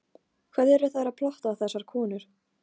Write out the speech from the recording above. Hvað eru þær að plotta, þessar konur?